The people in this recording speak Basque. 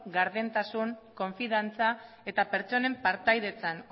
gardentasun konfidantza eta pertsonen partaidetzan